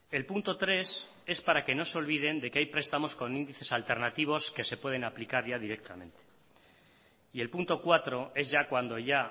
el punto tres es para que no se olviden de que hay prestamos con índices alternativos que se pueden aplicar ya directamente y el punto cuatro es ya cuando ya